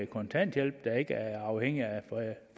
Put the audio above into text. kontanthjælp der ikke er afhængig